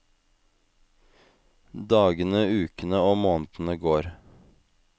Dagene, ukene og månedene går.